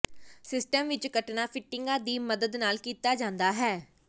system ਵਿੱਚ ਕੱਟਣਾ ਫਿਟਿੰਗਾਂ ਦੀ ਮਦਦ ਨਾਲ ਕੀਤਾ ਜਾਂਦਾ ਹੈ